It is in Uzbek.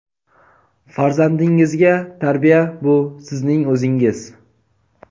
Farzandingizga tarbiya — bu sizning o‘zingiz.